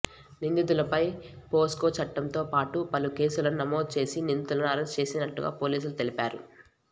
నిందితులపై POCSO చట్టంతో పాటు పలు కేసులను నమోదు చేసి నిందితులను అరెస్ట్ చేసినట్టుగా పోలీసులు తెలిపారు